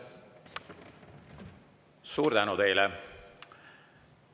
Suur tänu teile!